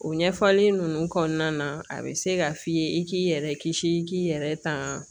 O ɲɛfɔli nunnu kɔnɔna na a bɛ se ka f'i ye i k'i yɛrɛ kisi i k'i yɛrɛ tanga